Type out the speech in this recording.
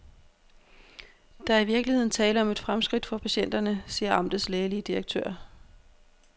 Der er i virkeligheden tale om et fremskridt for patienterne, siger amtets lægelige direktør.